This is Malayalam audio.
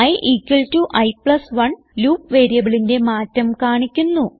i i1 ലൂപ്പ് വേരിയബിളിന്റെ മാറ്റം കാണിക്കുന്നു